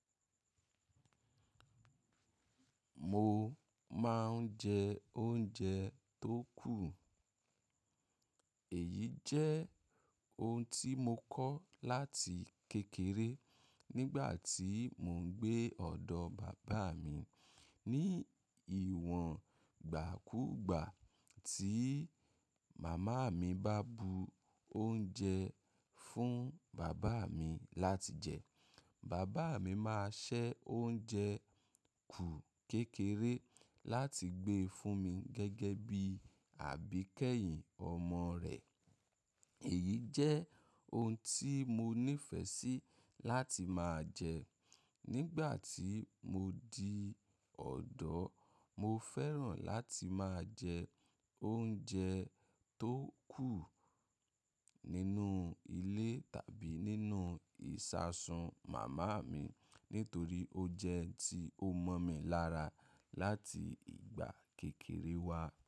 Mo máa ń jẹ oúnjẹ tó kù. Èyí jẹ́ ohun tí mo kọ́ láti kékeré nígbà tí mò ń gbé ọ̀dọ̀ bàbá mi. Ni ìwọ̀n gbàkugbà tí màmá mi bá bu oúnjẹ fún bàbá mi láti jẹ, bàbá mi máa ṣẹ́ oúnjẹ kù kékeré láti gbé fún mi gẹ́gẹ́ bí àbíkẹ́yìn ọmọ rẹ̀. Èyí jẹ́ ohun tí mo nífẹ̀ẹ́ sí láti máa jẹ. Nígbà tí mo di ọ̀dọ́, mo fẹ́ràn láti máa jẹ oúnjẹ tó kù nínú ilé tàbí nínú ìṣasùn màmá mi nítorí ó jẹ́ ohun tí ó mọ̀ mi lára láti ìgbà kékeré wa.